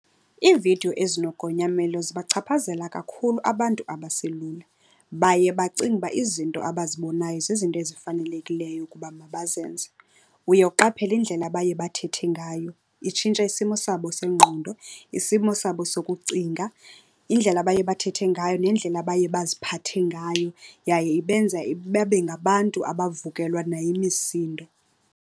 Iividiyo ezinogonyamelo zibachaphazela kakhulu abantu abaselula. Baye bacinge uba izinto abazibonayo zizinto ezifanelekileyo ukuba mabazenze. Uye uqaphele indlela abaye bathethe ngayo, itshintsha isimo sabo sengqondo, isimo sabo sokucinga, indlela abaye bathethe ngayo nendlela abaye baziphathe ngayo. Yaye ibenza babe ngabantu abavukelwa nayimisindo.